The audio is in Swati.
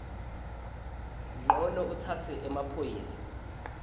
ncono utsatse emaphoyisa